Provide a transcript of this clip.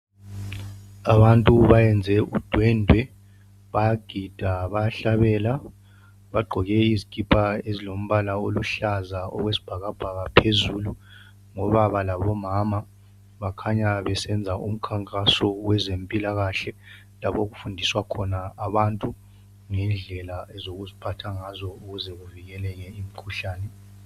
Abantu bayenze udwendwe bayagida bayahlabela . Bagqoke izikipa ezilombala oluhlaza okwesibhakabhaka phezulu Ngobaba labomama bakhanya besenza umkhankaso wezempilakahle .Lapho okufundiswa khona abantu ngendlela zokuziphatha ngazo ukuze bevikele imikhuhlane .